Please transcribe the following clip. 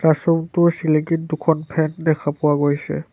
Classroom টোৰ চিলিঙিত দুখন ফেন দেখা পোৱা গৈছে।